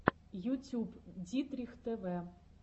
ютюб дитрих тв